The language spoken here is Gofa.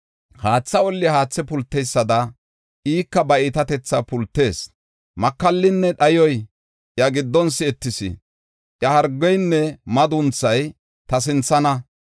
Haatha olli haathe pulteysada ika ba iitatetha pultees. Makallinne dhayoy iya giddon si7etees; iya hargeynne madunthay ta sinthana.